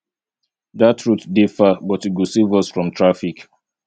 dat route dey far but e go save us from traffic